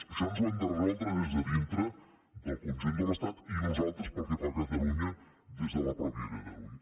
això ens ho hem de resoldre des de dintre del conjunt de l’estat i nosaltres pel que fa a catalunya des de la mateixa catalunya